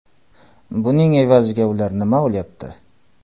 Buning evaziga ular nima olyapti?